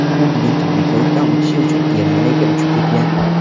U bugun tibbiy ko‘rikdan o‘tish uchun Germaniyaga uchib ketgan;.